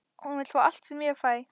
Hún vill fá allt sem ég fæ.